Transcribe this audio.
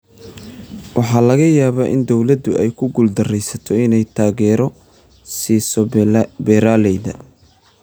Waxaa laga yaabaa in dowladdu ay ku guuldareysato inay taageero siiso beeralayda.